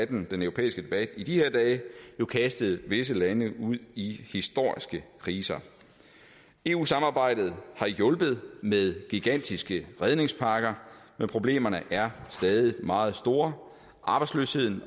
den europæiske debat i de her dage kastet visse lande ud i historiske kriser eu samarbejdet har hjulpet med gigantiske redningspakker men problemerne er stadig meget store arbejdsløsheden